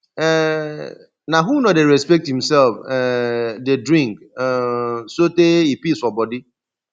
um na who no dey respect imself um dey drink um sotee e pis for bodi